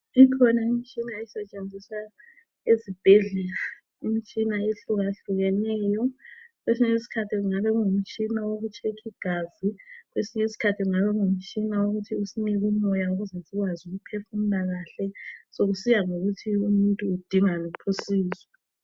Ikhona imitshina esetshenziswa esibhedlela, imitshina ehlukahlukeneyo. Kwesinye isikhathi kungabe kuyimitshina wokutshekhi gazi. Kwesinye iskhathi kungabe kungumtshina wokuthi usinike umoya ukuze sikwazi ukuphefumula kahle, sokusiya ngokuthi umuntu udinga luphi usizo.